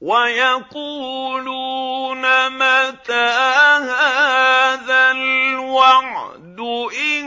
وَيَقُولُونَ مَتَىٰ هَٰذَا الْوَعْدُ إِن